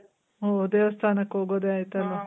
ಓ ದೇವಸ್ಥಾನಕ್ ಹೋಗೋದೇ ಆಯ್ತಲ್ಲ?